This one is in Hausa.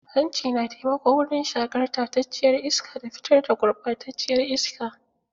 Hanci na taimako wurin shaƙar tacacciyar iska da fitar da gurɓataciyar iska.